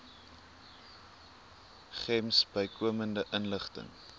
gems bykomende inligting